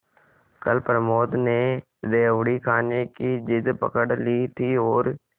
कल प्रमोद ने रेवड़ी खाने की जिद पकड ली थी और